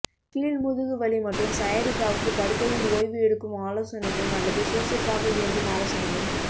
கீழ் முதுகு வலி மற்றும் சயாடிக்காவுக்கு படுக்கையில் ஒய்வு எடுக்கும் ஆலோசனையும் அல்லது சுறுசுறுப்பாக இயங்கும் ஆலோசனையும்